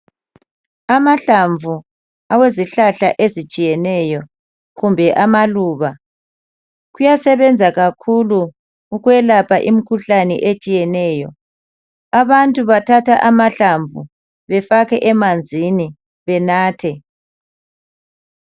Amahlamvu awezihlahla ezitshiyeneyo, kumbe amaluba kuyasebenza kakhulu ukwelapha imkhuhlane etshiyeneyo. Abantu bathatha amahlumvu befake emanzini benathe.